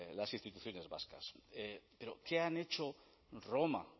las instituciones vascas pero qué han hecho roma